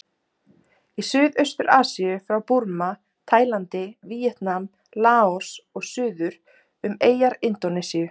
Í Suðaustur-Asíu frá Búrma, Tælandi, Víetnam, Laos og suður um eyjar Indónesíu.